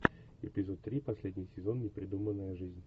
эпизод три последний сезон непридуманная жизнь